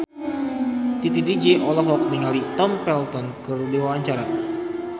Titi DJ olohok ningali Tom Felton keur diwawancara